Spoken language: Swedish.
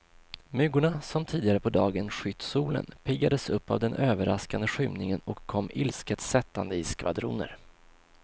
Myggorna som tidigare på dagen skytt solen, piggades upp av den överraskande skymningen och kom ilsket sättande i skvadroner.